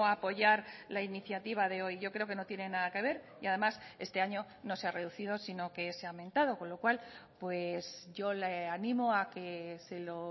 apoyar la iniciativa de hoy yo creo que no tienen nada que ver y además este año no se ha reducido sino que se ha aumentado con lo cual yo le animo a que se lo